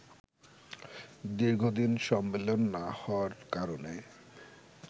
দীর্ঘদিন সম্মেলন না হওয়ার কারণে